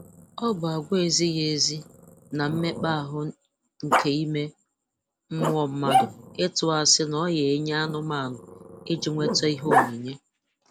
Ọ bụ agwa ezighị ezi na mmekpa ahụ nke ime mmụọ mmadụ ịtụ asị na ọ ya nwe anụmanụ iji nweta ihe onyinye